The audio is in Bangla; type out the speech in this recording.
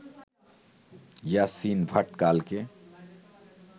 ইয়াসিন ভাটকালকে